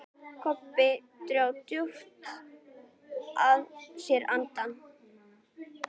Kobbi dró djúpt að sér andann.